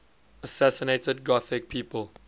assassinated gothic people